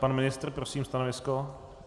Pan ministr prosím stanovisko?